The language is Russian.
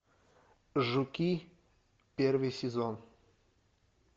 жуки первый сезон